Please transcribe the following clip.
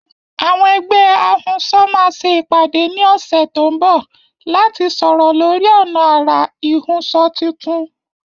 Àwọn ẹgbẹ́ ahunṣọ máa ṣe ìpàdé ní ọ̀sẹ̀ tó ń bọ̀ láti sọ̀rọ̀ lórí ọ̀nà àrà ìhunṣọ tuntun.